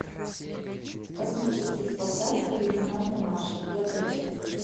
космические спасатели лейтенанта марша пятая часть